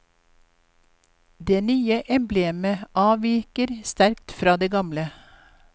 Det nye emblemet avviker sterkt fra det gamle.